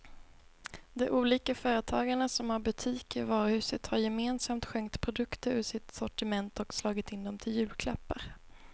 De olika företagarna som har butiker i varuhuset har gemensamt skänkt produkter ur sitt sortiment och slagit in dem till julklappar.